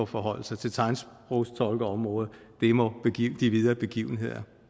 forholde sig til tegnsprogstolkeområdet må de videre begivenheder